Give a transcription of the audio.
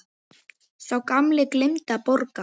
Sá gamli gleymdi að borga.